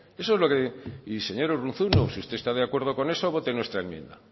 eso es lo que y señor urruzuno si usted está de acuerdo con eso vote nuestra enmienda